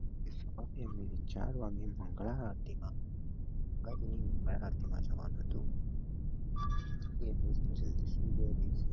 સવારે ઉઠી ચાર વાગે મંગળા આરતી માં આરતી માં જવાનું હતું એટલે અમે જલ્દી સુઈ ગયા ને